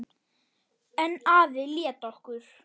En afi lét okkur